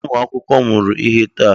Ee! Ụmụ akwụkwọ mụrụ ihe taa.